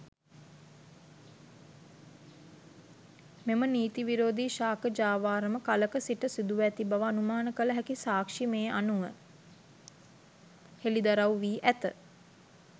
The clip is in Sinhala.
මෙම නීති විරෝධී ශාක ජාවාරම කලක සිට සිදුව ඇති බව අනුමාන කළ හැකි සාක්ෂි මේ අනුව හෙළිදරවු වී ඇත.